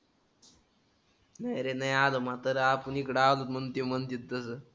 नाही रे नाही आलं म्हातारं आपण इकडं आलो म्हणून ते म्हणत्यात तर.